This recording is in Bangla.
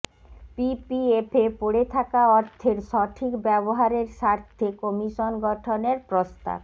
পিপিএফে পড়ে থাকা অর্থের সঠিক ব্যবহারের স্বার্থে কমিশন গঠনের প্রস্তাব